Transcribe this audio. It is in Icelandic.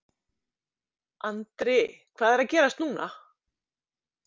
Andri hvað er að gerast núna?